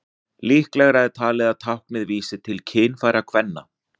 Líklegra er talið að táknið vísi til kynfæra kvenna.